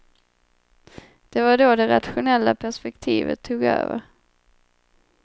Det var då det rationella perspektivet tog över.